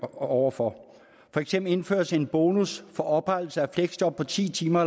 over for eksempel indføres en bonus for oprettelse af fleksjob på ti timer